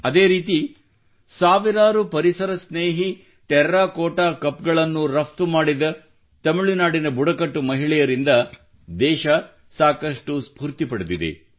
ಅದೇ ರೀತಿ ಸಾವಿರಾರು ಪರಿಸರ ಸ್ನೇಹಿ ಟೆರಾಕೋಟಾ ಕಪ್ ಗಳನ್ನು ರಫ್ತು ಮಾಡಿದ ತಮಿಳುನಾಡಿನ ಬುಡಕಟ್ಟು ಮಹಿಳೆಯರಿಂದ ದೇಶವು ಸಾಕಷ್ಟು ಸ್ಫೂರ್ತಿ ಪಡೆದಿದೆ